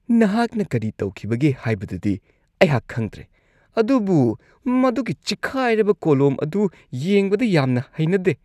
ꯅꯍꯥꯛꯅ ꯀꯔꯤ ꯇꯧꯈꯤꯕꯒꯦ ꯍꯥꯏꯕꯗꯨꯗꯤ ꯑꯩꯍꯥꯛ ꯈꯪꯗ꯭ꯔꯦ ꯑꯗꯨꯕꯨ ꯃꯗꯨꯒꯤ ꯆꯤꯛꯈꯥꯏꯔꯕ ꯀꯣꯂꯣꯝ ꯑꯗꯨ ꯌꯦꯡꯕꯗ ꯌꯥꯝꯅ ꯍꯩꯅꯗꯦ ꯫